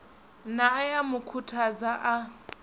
nae a mu khuthadza a